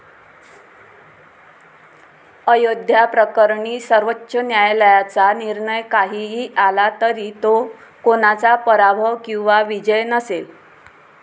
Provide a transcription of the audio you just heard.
अयोध्या प्रकरणी सर्वोच्च न्यायालयाचा निर्णय काहीही आला तरी तो कोणाचा पराभव किंवा विजय नसेल.